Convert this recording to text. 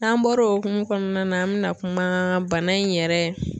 N'an bɔr'o o hokumu kɔnɔna na an bɛna kuma bana in yɛrɛ.